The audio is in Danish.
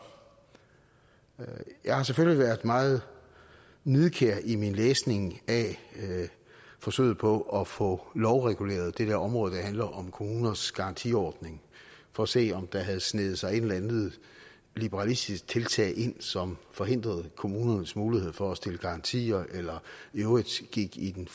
jeg har selvfølgelig været meget nidkær i min læsning af forsøget på at få lovreguleret det område der handler om kommuners garantiordning for at se om der havde sneget sig et eller andet liberalistisk tiltag ind som forhindrede kommunernes mulighed for at stille garantier eller i øvrigt gik i den